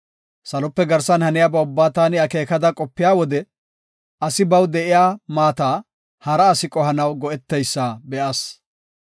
Salope garsan haniyaba ubbaa taani akeekada qopiya wode asi baw de7iya maata hara asi qohanaw go7eteysa be7as.